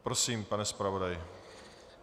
Prosím, pane zpravodaji.